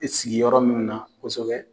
I sigi yɔrɔ mun na kosɛbɛ.